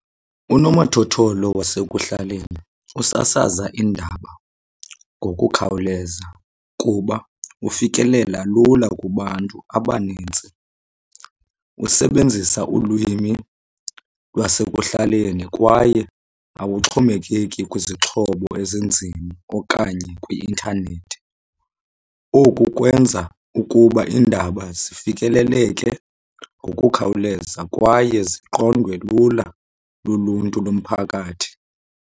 Unomathotholo wasekuhlaleni usasaza iindaba ngokukhawuleza kuba ufikelela lula kubantu abanintsi. Usebenzisa ulwimi lwasekuhlaleni kwaye awuxhomekeki kwizixhobo ezinzima okanye kwi-intanethi. Oku kwenza ukuba iindaba zifikeleleke ngokukhawuleza kwaye ziqondwe lula luluntu lomphakathi.